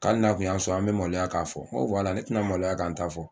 Ko hali n'a tun y'a sɔrɔ an bɛ maloya k'a fɔ n ko ne tɛna maloya ka n ta fɔ